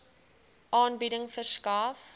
aanbieding verskaf